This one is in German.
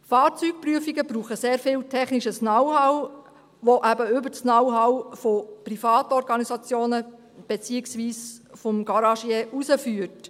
Fahrzeugprüfungen brauchen sehr viel technisches Know-how, das eben über das Know-how von Privatorganisationen beziehungsweise des Garagiers hinausgeht.